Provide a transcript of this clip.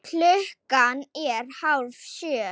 Klukkan er hálf sjö.